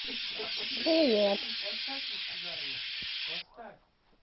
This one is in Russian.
привет поставь